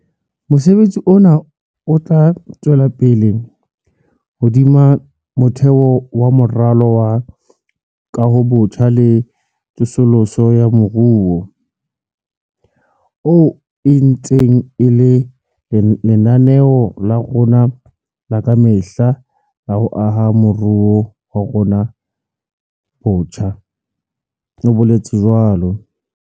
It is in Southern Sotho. "Mosebetsi ona o tla tswela pele hodima motheo wa Moralo wa Kahobotjha le Tsosoloso ya Moruo, oo e ntseng e le lenaneo la rona la ka mehla la ho aha moruo wa rona botjha," o boletse jwalo.